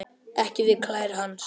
Ekki við klær hans.